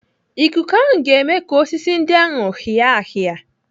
Ikuku ahụ ga-eme ka osisi ndị ahụ hịa hịa.